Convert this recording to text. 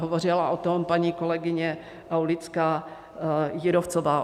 Hovořila o tom paní kolegyně Aulická Jírovcová.